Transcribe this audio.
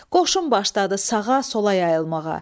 Qoşun başladı sağa, sola yayılmağa.